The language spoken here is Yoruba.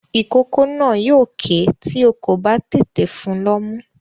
Ìkókó náà yóò kè é tí o kò bá tètè fun lọ́mú.